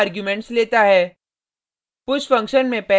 push function 2 arguments लेता है